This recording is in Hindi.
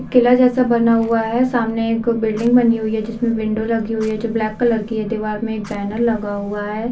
किला जैसा बना हुआ है सामने एक बिल्डिंग बनी हुई है जिसमे विंडो लगी हुई है जो ब्लैक कलर की है दीवार मे एक बैनर लगा हुआ है।